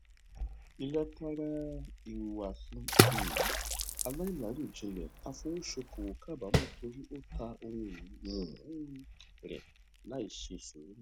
ilátara ihuwasi um alailarojinlẹ afowosokowo kabaamọ tori o ta ohunini um rẹ laiṣe suuru